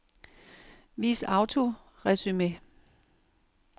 Vis autoresumé.